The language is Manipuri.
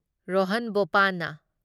ꯔꯣꯍꯟ ꯕꯣꯄꯥꯟꯅ